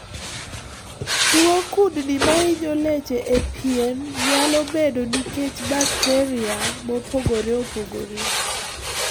Tuo kudni mahinyo leche e pien nyalo bedoe nikech bakteria mopogore opogore.